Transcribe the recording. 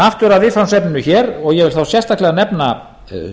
aftur að viðfangsefninu hér og ég vil þá sérstaklega nefna